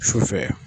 Sufɛ